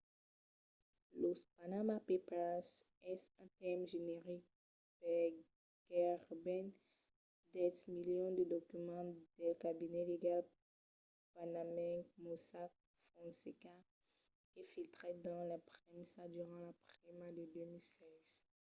los panama papers es un tèrme generic per gaireben dètz milions de documents del cabinet legal panamenc mossack fonseca que filtrèt dins la premsa durant la prima de 2016